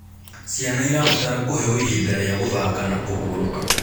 Ciana irabatara kũheo ihinda rĩa gũthaka na kũhũrũka